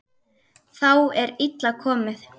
Þá er illa komið.